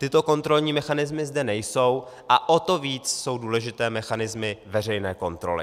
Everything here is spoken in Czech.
Tyto kontrolní mechanismy zde nejsou a o to více jsou důležité mechanismy veřejné kontroly.